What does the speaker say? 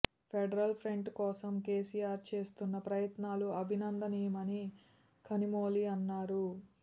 federal front కోసం కేసీఆర్ చేస్తున్న ప్రయత్నాలు అభినందనీయమని కనిమొళి అన్నారు